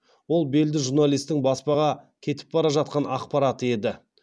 ол белді журналистің баспаға кетіп бара жатқан ақпараты еді